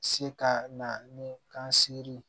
Se ka na ni kan sere ye